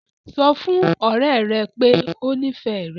Sọ fún ọ̀rẹ́ rẹ pé o nífẹ̀ẹ́ rẹ̀!